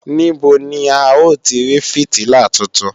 Níbo ni à ó ti rí fìtílà tuntun